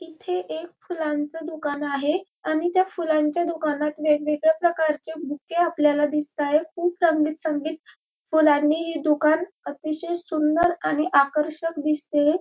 इथे एक फुलांचे दुकान आहे आणि त्या फुलांच्या दुकानात वेगवेगळ्या प्रकारचे बूके आपल्याला दिसतायेत खूप रंगीत संगीत फुलांनी ही दुकान अतिशय सुंदर आणि आकर्षक दिसतेय.